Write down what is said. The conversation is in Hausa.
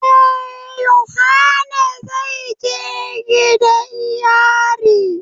Eh, yohana zai je gidan yari.